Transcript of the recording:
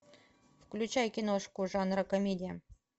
включай киношку жанра комедия